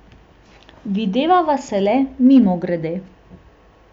Videvava se le mimogrede.